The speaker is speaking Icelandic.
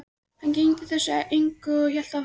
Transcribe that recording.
Hann gegndi þessu engu en hélt áfram að gelta.